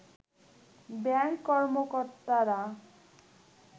bank কর্মকর্তারা